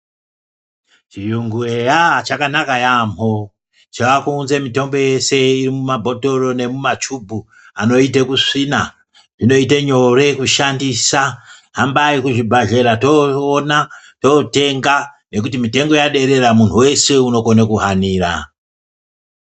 Chuyungu eya chakanaka yaamho chakuunze mitombo yeshe mumabhotoro nemumachubhu anoite kusvina zvinoite nyore kushandisa. Hambai kuzvibhedhlera toona totenga nekuti mitombo yaderera muntu veshe unokona kuhanira.